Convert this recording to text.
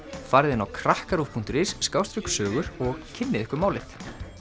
farið inn á krakkaruv punktur is og kynnið ykkur málið